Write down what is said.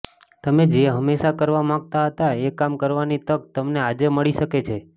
તમે જે હંમેશાં કરવા માગતા હતા એ કામ કરવાની તક તમને આજે મળી શકે છે